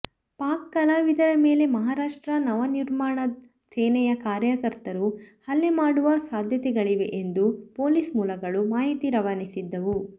ಪಾಕ್ ಕಲಾವಿದರ ಮೇಲೆ ಮಹಾರಾಷ್ಟ್ರ ನವನಿರ್ಮಾಣ ಸೇನೆಯ ಕಾರ್ಯಕರ್ತರು ಹಲ್ಲೆ ಮಾಡುವ ಸಾಧ್ಯತೆಗಳಿವೆ ಎಂದು ಪೊಲೀಸ್ ಮೂಲಗಳು ಮಾಹಿತಿ ರವಾನಿಸಿದ್ದವು